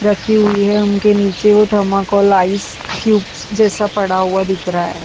रखी हुई है उनके नीचे वो थमाकॉल आइस क्यूब जैसा पड़ा हुआ दिख रहा है।